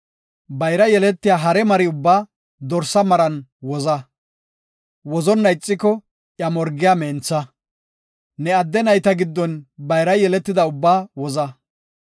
Bayra yeletiya hare mari ubbaa dorsa maran woza. Wozonna ixiko iya morgiya mentha. Ne adde nayta giddon bayra yeletida ubbaa woza.